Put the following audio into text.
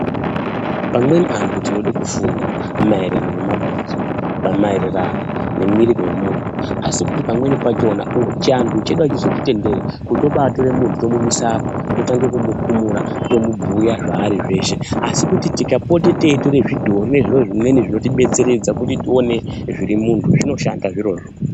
Amweni antu tinode kufunda maererano ngemabhonzo kana mererano nomuwiri womuntu asi pamweni pachona chivantu chedu achizotitenderi kuti tobaa tore muntu tomuisa apa totange tomubhuya zvaari zveshe asi kuti tikapote teitore zvidhoo nezviro zvimweni zvinoti batsiridza kuti tione zviri mumuntu zvinoshanda zviro zvoo.